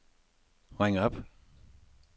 ring op